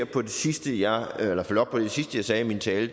på det sidste jeg sagde i min tale